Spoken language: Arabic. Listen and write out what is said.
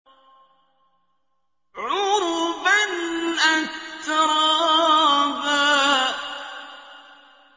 عُرُبًا أَتْرَابًا